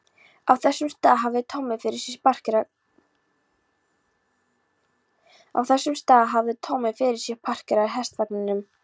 Á þessum stað hafði Tommi fyrir sið að parkera hestvagninum.